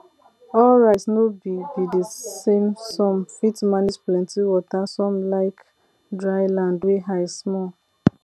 all rice no be be the samesome fit manage plenty water some like dry land wey high small